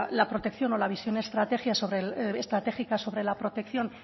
la protección o la visión estrategia sobre estratégica sobre la protección